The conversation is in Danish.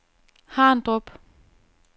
Harndrup